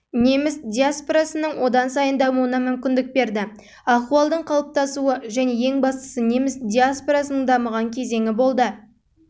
неміс диаспорасының одан сайын дамуына мүмкіндік берді ахуалдың қалыптасуы және ең бастысы неміс диаспорасының дамыған кезеңі болды